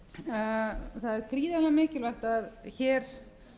það er gríðarlega mikilvægt að hér